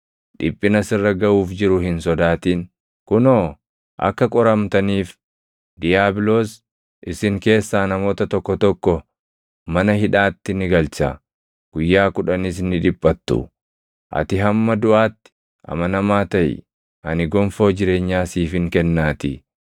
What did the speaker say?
Dhiphina sirra gaʼuuf jiru hin sodaatin. Kunoo, akka qoramtaniif diiyaabiloos isin keessaa namoota tokko tokko mana hidhaatti ni galcha. Guyyaa kudhanis ni dhiphattu. Ati hamma duʼaatti amanamaa taʼi; ani gonfoo jireenyaa siifin kennaatii.